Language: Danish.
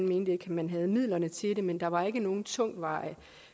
mente man havde midlerne til det men der var ikke nogen tungtvejende